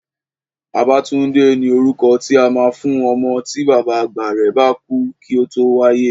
Babátúndé ni orúkọ tí a máa ń fún ọmọ tí bàbá àgbà rẹ̀ bá kú kí ó tó wáyé